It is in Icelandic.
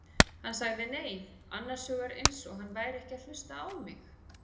Hann sagði nei, annars hugar eins og hann væri ekki að hlusta á mig.